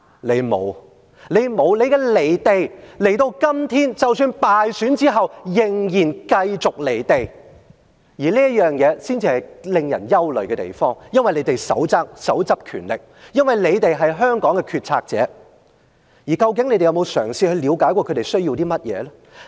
你們沒有，你們的離地，今天即使敗選仍然繼續離地，而這點才是令人憂慮的地方，因為你們手握權力，因為你們是香港的決策者，究竟你們有沒有嘗試了解他們需要甚麼呢？